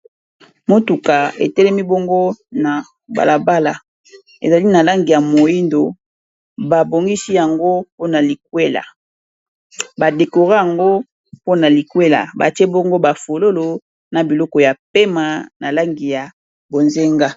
Motuka etelemi na balabala, eza na langi ya mwindo, ba decorer yango na ba singa ya langi ya bozenga na langi ya pembe pona likwela.